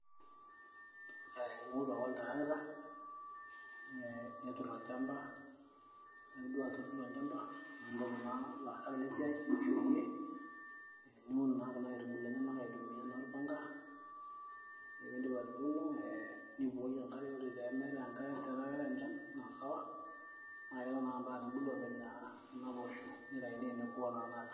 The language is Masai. ee ing'oru ake oltarakita ee neturr olchamba ore piidip aatuturo olchamba nimpotu naa ilaasak le siai ashu iyie niun naa kuna aitubulu enyenak aitumia naa orpanga ore piindip atuuno nibukoki enkare ore teemeetay enkare tenaa keetay enchan naa sawa naa keton ake mpaka nebulu oopeny naa kuna poosho nitaini teneku enaa tena kata.